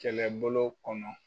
Kɛlɛbolo kɔnɔ